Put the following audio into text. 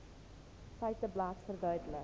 feiteblad verduidelik